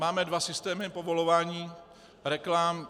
Máme dva systémy povolování reklam.